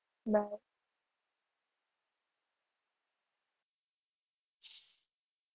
Bye.